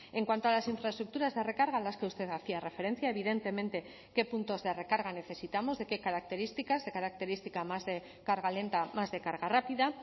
en cuanto a las infraestructuras de recarga a las que usted hacía referencia evidentemente qué puntos de recarga necesitamos de qué características de característica más de carga lenta más de carga rápida